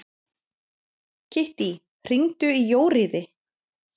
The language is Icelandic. Kittý, hringdu í Jóríði.